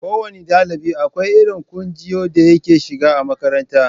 Ko wanne ɗalibi akwai irin kunjiyar da yake shiga a makaranta.